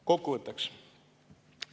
Kokkuvõtteks.